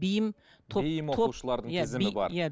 бейім топ бейім оқушылардың тізімі бар иә